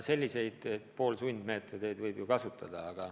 Selliseid poolsundmeetodeid võib ju kasutada.